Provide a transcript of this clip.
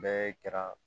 Bɛɛ kɛra